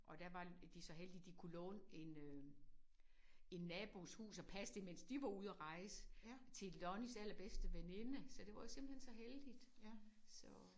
Og der var de så heldige de kunne låne en øh en nabos hus og passe det mens de var ude at rejse til Lonnies allerbedste veninde så det var jo simpelthen så heldigt så